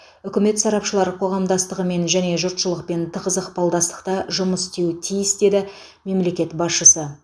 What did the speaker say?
үкімет сарапшылар қоғамдастығымен және жұртшылықпен тығыз ықпалдастықта жұмыс істеуі тиіс деді мемлекет басшысы